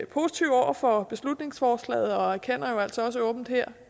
positive over for beslutningsforslaget og erkender jo altså også åbent her